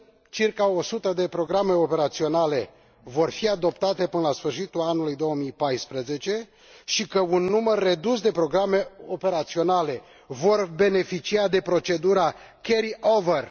Circa 100 de programe operaționale vor fi adoptate până la sfârșitul anului 2014 și un număr redus de programe operaționale vor beneficia de procedura carry over.